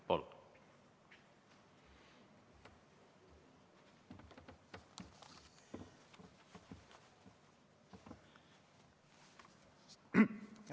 Palun!